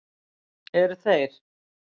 Eru þeir